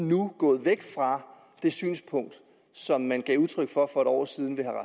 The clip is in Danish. nu gået væk fra det synspunkt som man gav udtryk for for en år siden ved herre